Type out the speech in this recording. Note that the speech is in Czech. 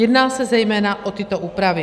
Jedná se zejména o tyto úpravy: